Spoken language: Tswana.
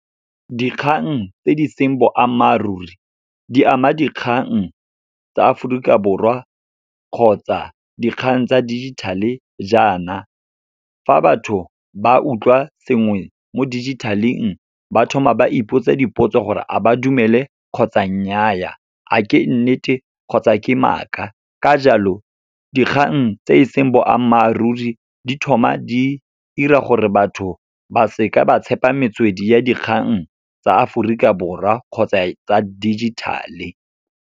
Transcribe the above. Dikgang tse di seng boammaaruri, di ama dikgang tsa Aforika Borwa kgotsa dikgang tsa digital-e jaana, fa batho ba utlwa sengwe mo dijithaleng ba thoma ba ipotsa dipotso gore a ba dumele, kgotsa nnyaa, a ke nnete kgotsa ke maaka. Ka jalo, dikgang tse e seng boammaaruri di thoma di 'ira gore batho ba seka ba tshepa metswedi ya dikgang tsa Aforika Borwa kgotsa tsa digital-e.